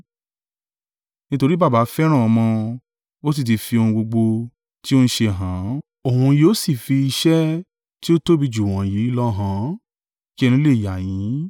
Nítorí Baba fẹ́ràn ọmọ, ó sì ti fi ohun gbogbo tí ó ń ṣe hàn án, òun yóò sì fi iṣẹ́ tí ó tóbi jù wọ̀nyí lọ hàn án, kí ẹnu lè yà yín.